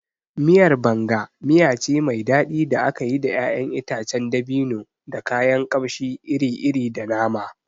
Miyar Banga miya ce mai daɗi da aka yi da ƴaƴan itacen dabino, da kayan kamshi iri-iri, da nama.